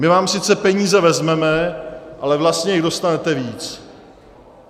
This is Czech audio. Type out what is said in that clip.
My vám sice peníze vezmeme, ale vlastně jich dostanete víc.